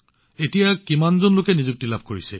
এতিয়া কিমান জন লোকে নিযুক্তি লাভ কৰিছে